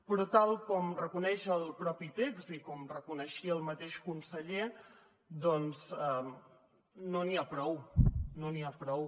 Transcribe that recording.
però tal com reconeix el mateix text i com reconeixia el mateix conseller doncs no n’hi ha prou no n’hi ha prou